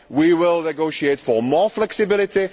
We will negotiate for more flexibility.